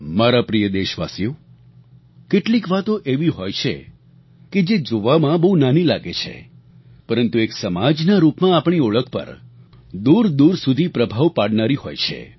મારા પ્રિય દેશવાસીઓ કેટલીક વાતો એવી હોય છે કે જે જોવામાં બહુ નાની લાગે છે પરંતુ એક સમાજના રૂપમાં આપણી ઓળખ પર દૂરદૂર સુધી પ્રભાવ પાડનારી હોય છે